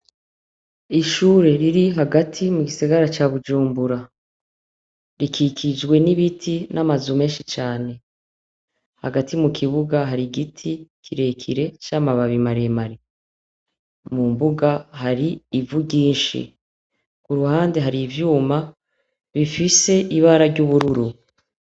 Ishure riri hagati mu gisagara ca Bujumbura, rikikijwe n'ibiti n'amazu menshi cane. Hagati mu kibuga har'igiti kirekire c'amababi maremare. Mu mbuga har'ivy ryinshi iruhande har'ivyuma bifise ibara ry'ubururu.